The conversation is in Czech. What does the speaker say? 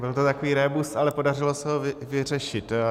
Byl to takový rébus, ale podařilo se ho vyřešit.